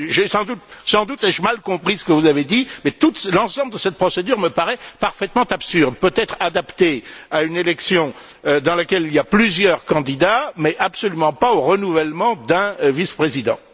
Sans doute ai je mal compris ce que vous avez dit, mais l'ensemble de cette procédure me paraît parfaitement absurde, peut être adaptée à une élection dans laquelle il y a plusieurs candidats, mais absolument pas au renouvellement d'un vice président.